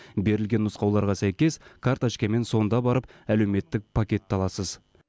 берілген нұсқауларға сәйкес карточкамен сонда барып әлеуметтік пакетті аласыз